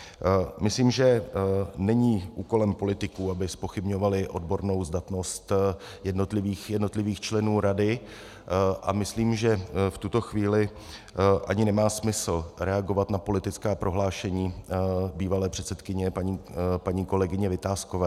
Myslím, že není úkolem politiků, aby zpochybňovali odbornou zdatnost jednotlivých členů rady, a myslím, že v tuto chvíli ani nemá smysl reagovat na politická prohlášení bývalé předsedkyně paní kolegyně Vitáskové.